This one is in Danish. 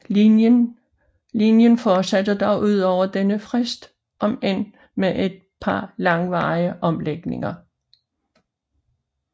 Linjen fortsatte dog udover denne frist om end med et par langvarige omlægninger